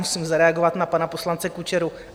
Musím zareagovat na pana poslance Kučeru.